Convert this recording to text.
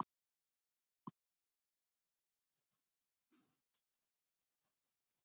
Ora, hvernig verður veðrið á morgun?